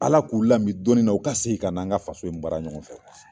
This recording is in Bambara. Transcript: Ala k'u lami dɔɔnin na. U ka segin ka na, an ka faso in baara ɲɔgɔn fɛ